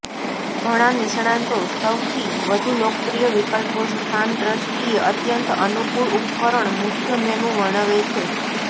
ઘણા નિષ્ણાતો સૌથી વધુ લોકપ્રિય વિકલ્પો સ્થાન દ્રષ્ટિએ અત્યંત અનુકૂળ ઉપકરણ મુખ્ય મેનુ વર્ણવે છે